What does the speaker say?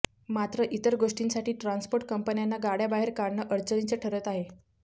मात्र इतर गोष्टींसाठी ट्रान्सपोर्ट कंपन्यांना गाड्या बाहेर काढणं अडचणीचे ठरत आहे